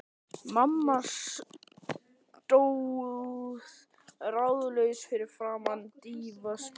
Mamma stóð ráðalaus fyrir framan dívaninn.